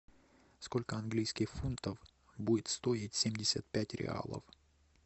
сколько английских фунтов будет стоить семьдесят пять реалов